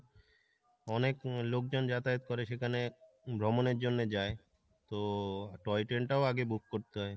অনেক লোকজন যাতায়াত করে সেখানে ভ্রমণের জন্য যায় তো toy train টাও আগে book করতে হয়।